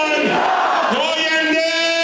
Yaşasın İran!